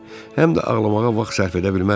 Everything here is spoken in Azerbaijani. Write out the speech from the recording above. Həm də ağlamağa vaxt sərf edə bilməzdi.